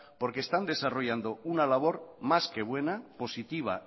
porque están desarrollando una labor más que buena positiva